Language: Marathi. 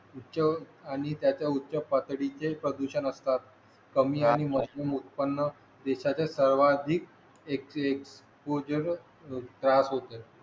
उच्च आणि त्याच्या उच्च पातडीचे प्रदूषण असतात कमी आणि उत्पन्न देशाच्या सर्वाधिक एक उत्तेजक त्रास होते